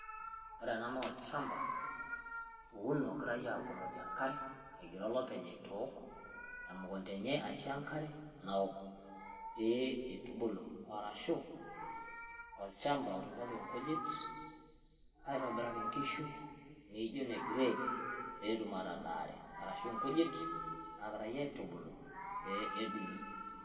wore enaa naa olchamba owuno ogirai egira olopeny aisho enkare temukunda aishoo enkare nawook pee itubulu arashu olchamba otunieki nkujit aitobiraki nkishu naijio negrade petum atadare arashu nkujit nagirai aitubulu pe edung'i